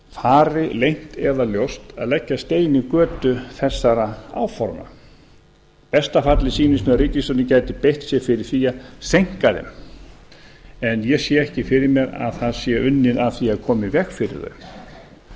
fari leynt eða ljóst að leggja stein í götu þessara áforma í besta falli sýnist mér að ríkisstjórnin gæti beitt sér fyrir því að seinka þeim en ég sé ekki fyrir mér að það sé unnið að því að koma í veg fyrir þau